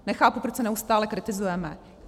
Nechápu, proč se neustále kritizujeme.